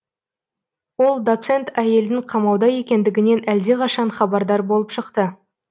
ол доцент әйелдің қамауда екендігінен әлдеқашан хабардар болып шықты